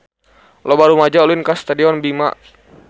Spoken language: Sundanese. Loba rumaja ulin ka Stadion Bima